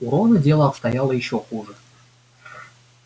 у рона дело обстояло ещё хуже